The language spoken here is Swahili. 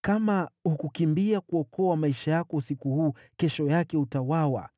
“Kama hukukimbia kuokoa maisha yako usiku huu, kesho yake utauawa.”